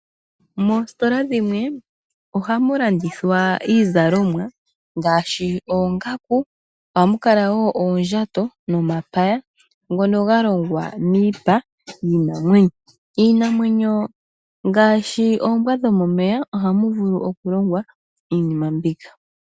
Moositola dhimwe ohamu landithwa iizalomwa ngaashi oongaku, ohamu kala wo oondjato nomapya ngono galongwa miipa yiinamwenyo. Iinamwenyo ngaashi oombwa dhomomeya ohamu vulu okulongwa iinima mbika.